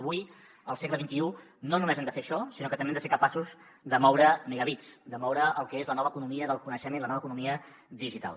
avui al segle xxi no només hem de fer això sinó que també hem de ser capaços de moure megabits de moure el que és la nova economia del coneixement la nova economia digital